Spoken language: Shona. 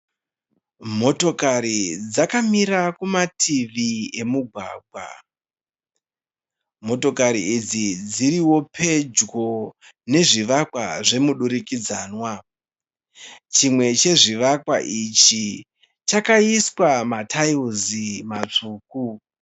Motokari dzakamira kumativi emugwagwa. Motokari idzi dzirio pedyo nezvivakwa zvemudurikidzanwa. Chimwe chezvivakwa ichi chakaiswa mataira matsvuku.